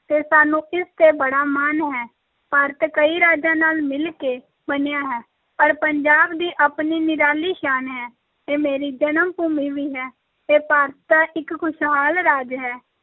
ਤੇ ਸਾਨੂੰ ਇਸ ‘ਤੇ ਬੜਾ ਮਾਣ ਹੈ, ਭਾਰਤ ਕਈ ਰਾਜਾਂ ਨਾਲ ਮਿਲ ਕੇ ਬਣਿਆ ਹੈ ਪਰ ਪੰਜਾਬ ਦੀ ਆਪਣੀ ਨਿਰਾਲੀ ਸ਼ਾਨ ਹੈ, ਇਹ ਮੇਰੀ ਜਨਮ-ਭੂਮੀ ਵੀ ਹੈ, ਇਹ ਭਾਰਤ ਦਾ ਇੱਕ ਖੁਸ਼ਹਾਲ ਰਾਜ ਹੈ,